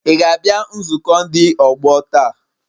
Ị ga-abịa nzukọ ndị ọgbọ taa?